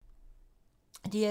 DR2